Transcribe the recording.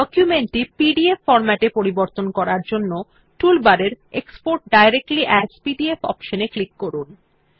document টি PDF ফর্ম্যাটে পরিবর্তন করার জন্য টুল বারের এক্সপোর্ট ডাইরেক্টলি এএস পিডিএফ অপশন এ ক্লিক করুন